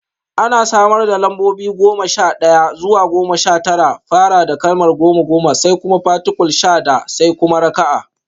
An samar da lambobi daga goma sha ɗaya zuwa goma sha tara da fara da kalmar goma (goma), sai kuma particule sha (da), sai kuma raka'a: